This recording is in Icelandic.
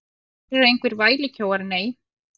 Þeir eru engir vælukjóar, nei.